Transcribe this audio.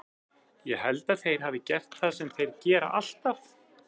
Ég held að þeir hafi gert það sem þeir gera alltaf.